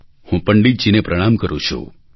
હું પંડિતજીને પ્રણામ કરું છું